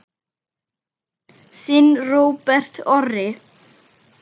Þinn Róbert Orri.